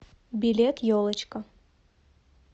билет елочка